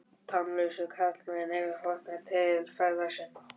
Tannlausu karlarnir eru horfnir til feðra sinna.